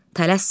Tələsmə.